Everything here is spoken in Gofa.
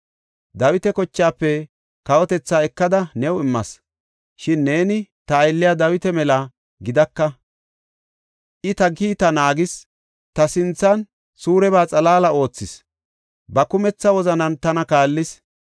Dawita kochaafe kawotethaa ekada new immas; shin neeni ta aylliya Dawita mela gidaka. I ta kiitta naagis; ta sinthan suureba xalaala oothishe ba kumetha wozanan tana kaallis.